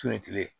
tile